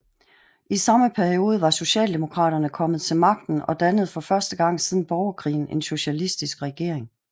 I samme periode var socialdemokraterne kommet til magten og dannede for første gang siden borgerkrigen en socialistisk regering